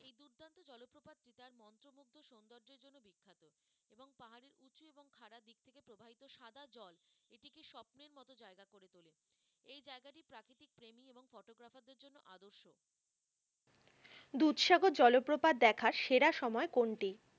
দুধসাগর জলপ্রপাত দেখার সেরা সময় কোনটি?